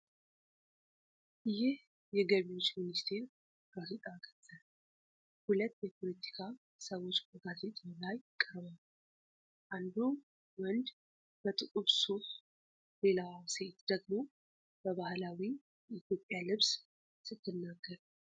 ይህ የገቢዎች ሚኒስቴር ጋዜጣ ገጽ ነው። ሁለት የፖለቲካ ሰዎች በጋዜጣው ላይ ቀርበዋል፤ አንዱ ወንድ በጥቁር ሱፍ፣ ሌላዋ ሴት ደግሞ በባህላዊ የኢትዮጵያ ልብስ ስትናገር።